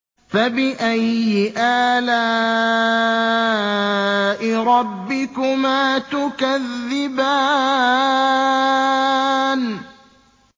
فَبِأَيِّ آلَاءِ رَبِّكُمَا تُكَذِّبَانِ